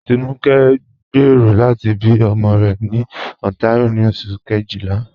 Tinúkẹ̀ ǹ gbéero lati bí ọmọ rẹ̀ ni Ontario ni Oṣù̀ kejìlá.